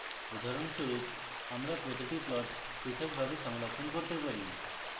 উদাহরণস্বরূপ আমরা প্রতিটি plot পৃথকভাবে সংরক্ষণ করতে পারি